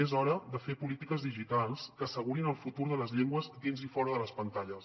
és hora de fer polítiques digitals que assegurin el futur de les llengües dins i fora de les pantalles